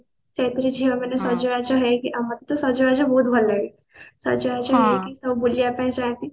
ସେଇପରି ଝିଅ ମାନେ ସଜବାଜ ହେଇକିନା ଆଉ ମୋତେ ତ ସଜବାଜ ବହୁତ ଭଲ ଲାଗେ ସଜବାଜ ହେଇକି ସବୁ ବୁଲିବା ପାଇଁ ଚାହାନ୍ତି